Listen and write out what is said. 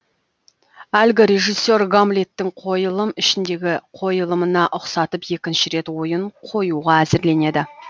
әлгі режиссер гамллеттің қойылым ішіндегі қойылымына ұқсатып екінші рет ойын қоюға әзірленеді